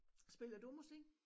Spiller du musik?